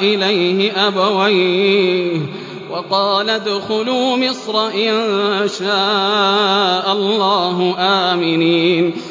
إِلَيْهِ أَبَوَيْهِ وَقَالَ ادْخُلُوا مِصْرَ إِن شَاءَ اللَّهُ آمِنِينَ